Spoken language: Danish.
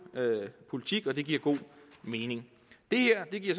politik og det giver god mening det her giver